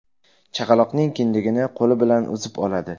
Chaqaloqning kindigini qo‘li bilan uzib oladi.